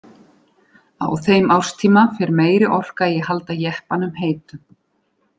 Á þeim árstíma fer meiri orka í að halda jeppanum heitum.